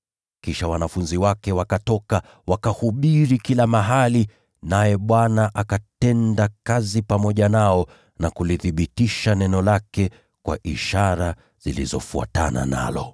Kisha wanafunzi wake wakatoka, wakahubiri kila mahali, naye Bwana akatenda kazi pamoja nao na kulithibitisha neno lake kwa ishara zilizofuatana nalo.]